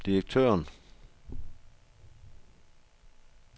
direktøren